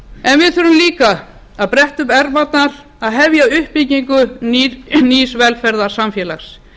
en við þurfum líka að bretta upp ermarnar og hefja uppbyggingu nýs velferðarsamfélags